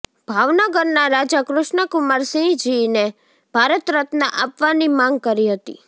ભાવનગરના રાજા કૃષ્ણકુમારસિંહજીને ભારત રત્ન આપવાની માંગ કરી હતી